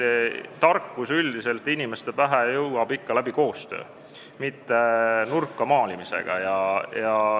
Tarkus jõuab üldiselt inimeste pähe ikka koostöö abil, mitte nurka maalimise teel.